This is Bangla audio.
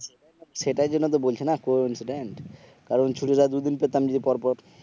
সেটার জন্যই তো বলছি না কোইন্সিডেন্ট কারণ ছুটিটা দুদিন পেতাম যে পরপর